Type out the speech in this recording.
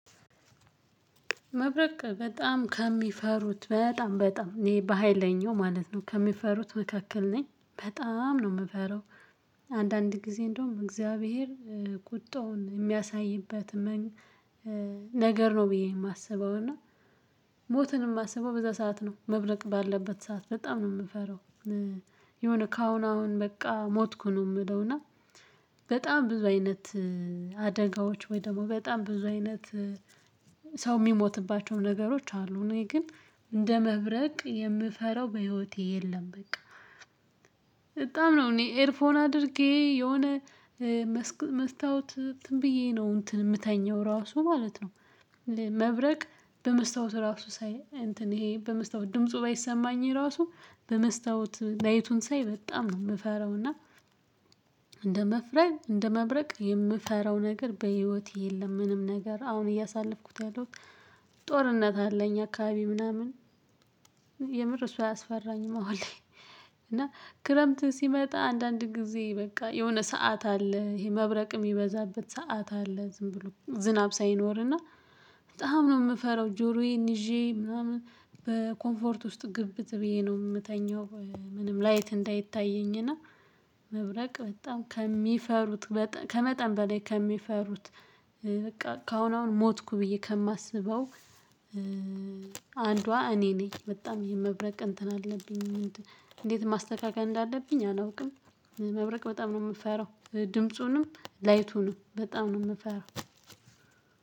መብረቅ በጣም ከሚፈሩት በጣም በጣም እኔ በሃይለኛው ማለት ነው ከሚፈሩት መካከል ነኝ በጣም ነው የምፈራው። አንዳንድ ጊዜ እንደውም እግዚአብሔር ቁጣውን የሚያሳይበት። ነገር ነው ብዬ የማስበው እና። ሞትን የማስበው በዛ ሰዓት ነው መብረቅ ባለበት ሰዓት በጣም ነው የምፈራው። የሆነ ካሁን አሁን በቃ ሞትኩ ነው የምለው እና። በጣም ብዙ አይነት አደጋዎች ወይ ደግሞ በጣም ብዙ አይነት ሰው የሚሞትባቸውም ነገሮች አሉ። እኔ ግን እንደ መብረቅ የምፈራው በህይወቴ የለም። በቃ በጣም ነው እኔ ኤርፎን አድርጌ የሆነ መስታወት እንትን ብዬ ነው እንትን የምተኛው ራሱ ማለት ነው። መብረቅ በመስታወት ራሱ ሳይ እንትን ይሄ በመስታወት ድምፁ ባይሰማኝ ራሱ በመስታወት ላይቱን ሳይ በጣም ነው የምፈራው እና። እንደ መፍረግ እንደ መብረቅ የምፈራው ነገር በህይወቴ የለም። ምንም ነገር አሁን እያሳለፍኩት ያለው ጦርነት አለ። እኛ አካባቢ ምናምን የምር እሱ አያስፈራኝም አሁን ላይ። እና ክረምት ሲመጣ አንዳንድ ጊዜ በቃ የሆነ ሰዓት አለ ይሄ መብረቅ የሚበዛበት ሰዓት አለ። ዝም ብሎ ዝናብ ሳይኖር እና በጣም ነው የምፈራው። ጆሮዬን ይዤ ምናምን በኮምፎርት ውስጥ ግብት ብዬ ነው የምተኛው። ምንም ላይት እንዳይታየኝ እና መብረቅ በጣም ከሚፈሩት ከመጠን በላይ ከሚፈሩት በቃ ከአሁን አሁን ሞትኩ ብዬ ከማስበው። አንዷ እኔ ነኝ በጣም ይሄ የመብረቅ እንትን አለብኝ። እንዴት ማስተካከል እንዳለብኝ አላውቅም። መብረቅ በጣም ነው የምፈራው ድምፁንም ላይቱንም በጣም ነው የምፈራው።